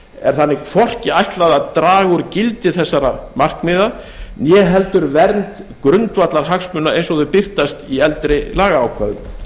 er þannig hvorki ætlað að draga úr gildi þessara markmiða né heldur vernd grundvallarhagsmuna eins og þau birtast í eldri lagaákvæðum